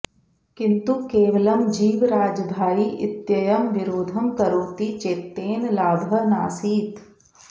किन्तु केवलं जीवराजभाई इत्ययं विरोधं करोति चेत्तेन लाभः नासीत्